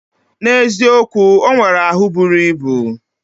Na eziokwu, onwere ahu buru ibu.